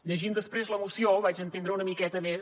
llegint després la moció ho vaig entendre una miqueta més